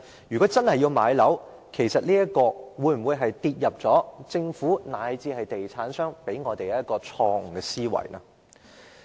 如果真的要買樓，是否受到政府，以至地產商向我們灌輸的錯誤思維所影響？